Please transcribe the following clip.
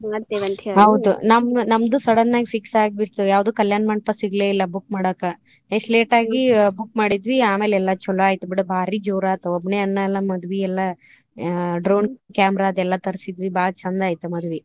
ಹೌದ ನಮ್ದು sudden ಆಗಿ fix ಆಗಿಬಿಟ್ಟತು ಯಾವ್ದು ಕಲ್ಯಾಣ ಮಂಟಪಾ ಸಿಗ್ಲೆಯಿಲ್ಲಾ book ಮಾಡಾಕ ಎಷ್ಟ್ late ಆಗಿ book ಮಾಡಿದ್ವಿ ಆಮೇಲ್ ಎಲ್ಲಾ ಚೊಲೊ ಆಯ್ತು ಬಿಡ ಭಾರಿ ಜೋರ ಆಯ್ತು ಒಬ್ನೇ ಅಣ್ಣಾ ಅಲ್ಲಾ ಮದ್ವಿ ಎಲ್ಲಾ drone camera ಅದ ಎಲ್ಲಾ ತರ್ಸಿದ್ವಿ ಬಾಳ್ ಚಂದ ಆಯ್ತು ಮದ್ವಿ.